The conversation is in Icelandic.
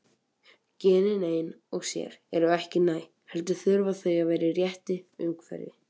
Genin ein og sér eru ekki næg, heldur þurfa þau að vera í réttu umhverfi.